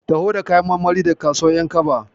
Taho da kayan marmari daga kasuwar ƴankaba.